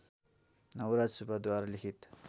नवराज सुब्बाद्वारा लिखित